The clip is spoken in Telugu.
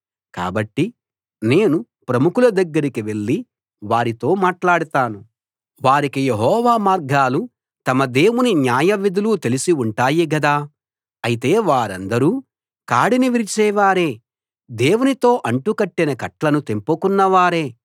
కాబట్టి నేను ప్రముఖుల దగ్గరికి వెళ్ళి వారితో మాట్లాడతాను వారికి యెహోవా మార్గాలు తమ దేవుని న్యాయవిధులు తెలిసి ఉంటాయి గదా అయితే వారందరూ కాడిని విరిచేవారే దేవునితో అంటుకట్టిన కట్లను తెంపుకొన్న వారే